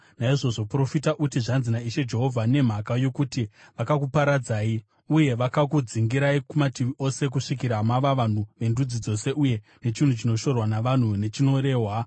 Naizvozvo profita uti, ‘Zvanzi naIshe Jehovha: Nemhaka yokuti vakakuparadzai uye vakakudzingirai kumativi ose kusvikira mava vanhu vendudzi dzose uye nechinhu chinoshorwa navanhu, nechinorehwa,